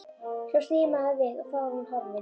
Svo snýr maður við og þá er hún horfin.